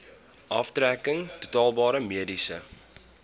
aftrekking toelaatbare mediese